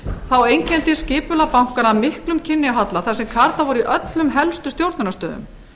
þá einkenndist skipulag bankanna af miklum kynjahalla þar sem karlar voru í öllum helstu stjórnunarstöðum